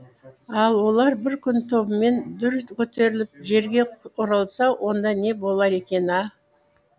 ал олар бір күні тобымен дүр көтеріліп жерге оралса онда не болар екен а